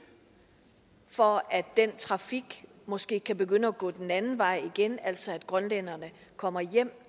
for at den trafik måske kan begynde at gå den anden vej igen altså at grønlænderne kommer hjem